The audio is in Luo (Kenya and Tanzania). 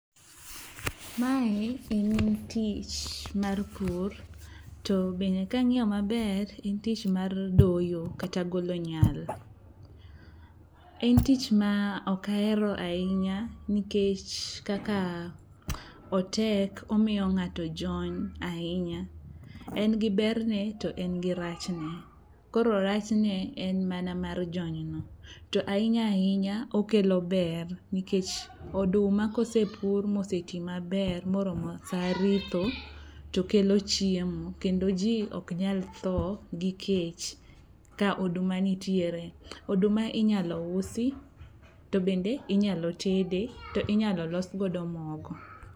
Mae en tich mar pur to bende kang'iyo maber en tich mar doyo kata golo nyal. En tich maok ahero ahinya nikech kaka otek omiyo ng'ato jony ahinya. En gi berne to en gi rachne koro rachne en mana mar jonyno to ahinya ahinya okelo ber nikech oduma kosepur moseti maber moromo sa ritho tokelo chiemo kendo ji oknyal tho gi kech ka oduma nitiere. Oduma inyalo usi to bende inyalo tede to inyalo losgodo mogo.